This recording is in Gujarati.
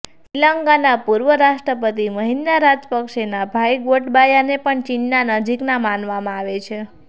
શ્રીલંકાના પૂર્વ રાષ્ટ્રપતિ મહિંદા રાજપક્ષેના ભાઈ ગોટબાયાને પણ ચીનના નજીકના માનવામાં આવે છે